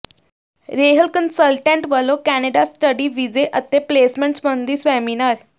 ਰੇਹਲ consultant ਵੱਲੋਂ Canada study ਵੀਜ਼ੇ ਅਤੇ ਪਲੇਸਮੈਂਟ ਸਬੰਧੀ ਸੈਮੀਨਾਰ